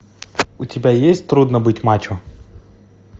у тебя есть трудно быть мачо